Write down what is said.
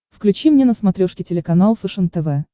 включи мне на смотрешке телеканал фэшен тв